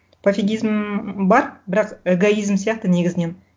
пофигизм бар бірақ эгоизм сияқты негізінен